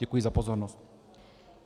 Děkuji za pozornost.